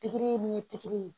Pikiri min ye pikiri ye